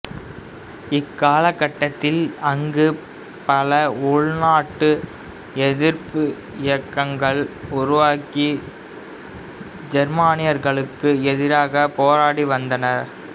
இக்காலகட்டத்தில் அங்கு பல உள்நாட்டு எதிர்ப்பு இயக்கங்கள் உருவாகி ஜெர்மானியர்களுக்கு எதிராகப் போராடி வந்தன